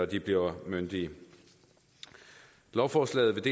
de bliver myndige lovforslaget